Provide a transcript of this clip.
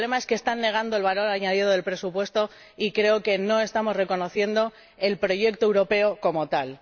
el problema es que están negando el valor añadido del presupuesto y creo que no estamos reconociendo el proyecto europeo como tal.